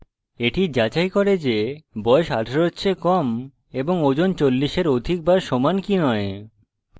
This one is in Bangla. এটি যাচাই করে বয়স যে 18 age চেয়ে কম এবং ওজন 40 age অধিক বা সমান কি নয়